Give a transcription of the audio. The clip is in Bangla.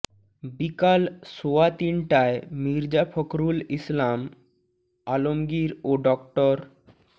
বিকাল সোয়া তিনটায় মির্জা ফখরুল ইসলাম আলমগীর ও ড